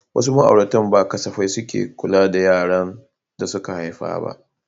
Wasu ma'auratan ba safai suke kula da yaran da suka haifa ba.